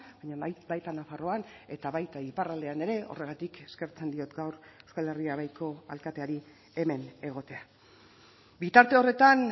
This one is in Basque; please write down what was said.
baina baita nafarroan eta baita iparraldean ere horregatik eskertzen diot gaur euskal herria baiko alkateari hemen egotea bitarte horretan